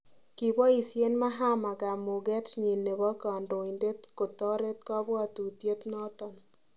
Kiboisen Mahama kamuket nyin nebo kandoindent kotoret kapwatutiet noton